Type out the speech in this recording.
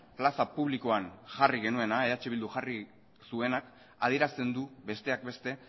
plaza publikoan jarri genuena eh bilduk jarri zuena adierazten du besteak beste